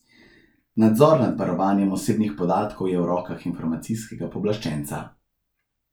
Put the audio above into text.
Nadzor nad varovanjem osebnih podatkov je v rokah informacijskega pooblaščenca.